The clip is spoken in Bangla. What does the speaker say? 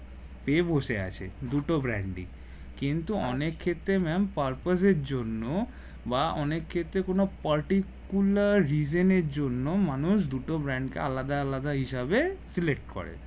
পেয়ে বসে আছে দুটো brand ই কিন্তু অনেক ক্ষেত্রে ম্যাম purpose এর জন্য বা অনেক ক্ষেত্রে কোনো particular reason এর জন্য মানুষ দুটো brand কে আলাদা আলাদা হিসাবে select করে